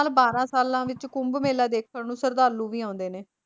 ਬਾਰਾਂ ਸਾਲਾਂ ਵਿੱਚ ਕੁੰਭ ਮੇਲਾ ਦੇਖਣ ਨੂੰ ਸ਼ਰਧਾਲੂ ਵੀ ਆਉਂਦੇ ਨੇ